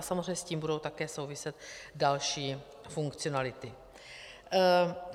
A samozřejmě s tím budou také souviset další funkcionality.